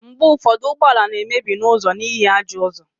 mgbe ụfọdụ ụgbọ ala na-emebi n'ụzọ n'ihi ajọ ụzọ